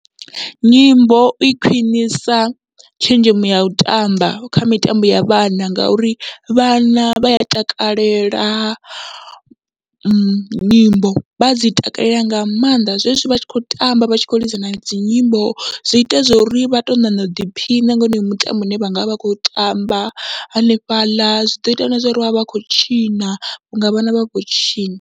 Nyimbo i khwiṋisa tshenzhemo yau tamba kha mitambo ya vhana, ngauri vhana vha a takalela nyimbo vha dzi takalela nga maanḓa, zwezwi vha tshi kho tamba vha tshi khou lidza nadzi nyimbo zwi ita zwori vha to ṋaṋa u ḓiphina nga wonoyo mutambo une vhangavha vha khou tamba hanefhaḽa, zwi ḓo ita na zwa uri vhavhe vha khou tshina vhunga vhana khou tshina.